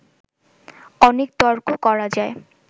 অনেক তর্ক করা যায়